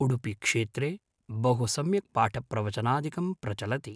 उडपि क्षेत्रे बहु सम्यक् पाठप्रवचनादिकं प्रचलति